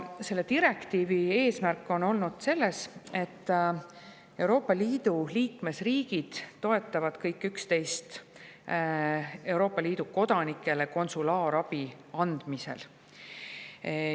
Selle direktiivi eesmärk on, et Euroopa Liidu liikmesriigid toetavad kõik üksteist Euroopa Liidu kodanikele konsulaarabi andmisel.